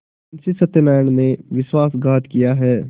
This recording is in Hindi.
मुंशी सत्यनारायण ने विश्वासघात किया है